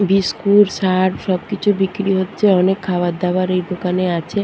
Biscuit Surf সবকিছু বিক্রি হচ্ছে অনেক খাবারদাবার এই দোকানে আছে।